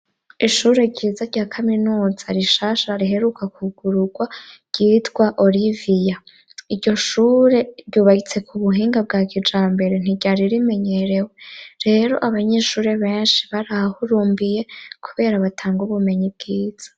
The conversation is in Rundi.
Ishure ryiza rya kaminuza rishasha riheruka kwugururwa ryitwa oriviya, iryo shure ryubakitse ku buhinga bwa kijambere ntiryari rimenyerewe, rero abanyeshuri benshi barahahurumbiye kubera batanga ubumenyi bwiza.